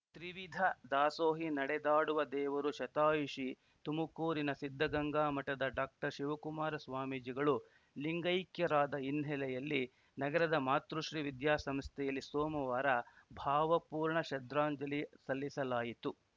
ತ್ರಿವಿಧ ದಾಸೋಹಿ ನಡೆದಾಡುವ ದೇವರು ಶತಾಯುಷಿ ತುಮಕೂರಿನ ಸಿದ್ದಗಂಗಾ ಮಠದ ಡಾಕ್ಟರ್ಶಿವಕುಮಾರ ಸ್ವಾಮೀಜಿಗಳು ಲಿಂಗೈಕ್ಯರಾದ ಹಿನ್ನೆಲೆಯಲ್ಲಿ ನಗರದ ಮಾತೃಶ್ರೀ ವಿದ್ಯಾಸಂಸ್ಥೆಯಲ್ಲಿ ಸೋಮವಾರ ಭಾವಪೂರ್ಣ ಶ್ರದ್ಧಾಂಜಲಿ ಸಲ್ಲಿಸಲಾಯಿತು